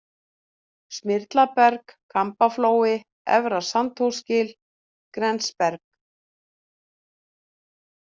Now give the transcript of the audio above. Smyrlaberg, Kambaflói, Efra-Sandhólsgil, Grensberg